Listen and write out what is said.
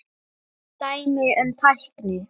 Dæmi um tækni